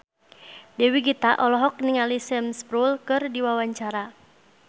Dewi Gita olohok ningali Sam Spruell keur diwawancara